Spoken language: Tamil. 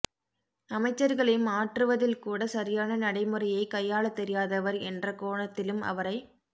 அமைச்சர்களை மாற்றுவதில்கூட சரியான நடைமுறையைக் கையாளத் தெரியாதவர் என்ற கோணத்திலும் அவரை